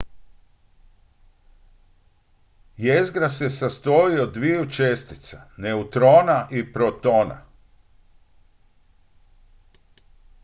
jezgra se sastoji od dviju čestica neutrona i protona